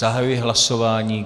Zahajuji hlasování.